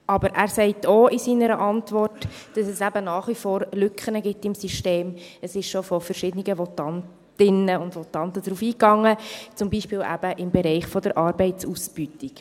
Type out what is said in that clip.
Aber er sagt in seiner Antwort auch, dass es eben nach wie vor Lücken im System gibt – es wurde schon von verschiedenen Votantinnen und Votanten darauf eingegangen –, zum Beispiel eben im Bereich der Arbeitsausbeutung.